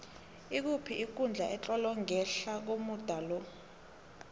ikuphi ikundla etlolwe ngehla komuda lo